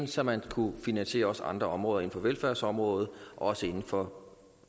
så man kunne finansiere andre områder inden for velfærdsområdet også inden for